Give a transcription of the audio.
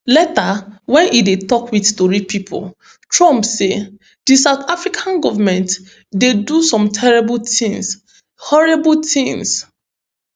later wen e dey tok wit tori pipo trump say di south africa goment dey do some terrible tins horrible tins